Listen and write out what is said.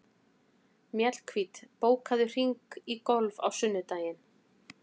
Mjallhvít, bókaðu hring í golf á sunnudaginn.